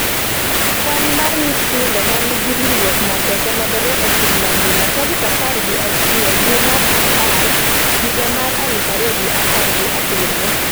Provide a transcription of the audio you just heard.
kwan mar nyithindo ma nigi ringruok mapek omedore e piny mangima .tarik apar gi achiel dwe mar apar higa mar aluf ariyo gi apar gi abiriyo